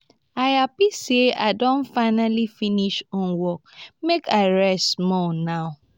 i happy sey i don finally finish homework make i rest small now